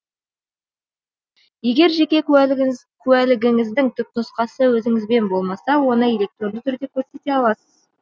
егер жеке куәлігіңіздің түпнұсқасы өзіңізбен болмаса оны электронды түрде көрсете аласыз